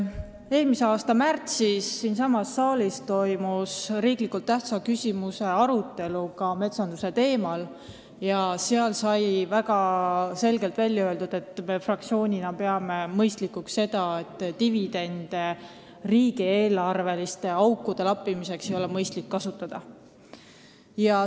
Eelmise aasta märtsis toimus siinsamas saalis riiklikult tähtsa küsimuse arutelu ka metsanduse teemal ja siis sai väga selgelt välja öeldud, et meie fraktsioon peab mõistlikuks seda, et dividende riigieelarveliste aukude lappimiseks ei kasutata.